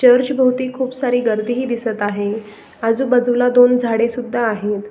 Church भोवती खूप सारी गर्दीही दिसत आहे आजूबाजूला दोन झाडे सुद्धा आहेत.